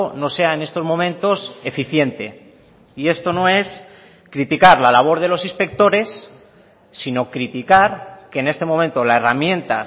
no sea en estos momentos eficiente y esto no es criticar la labor de los inspectores sino criticar que en este momento la herramienta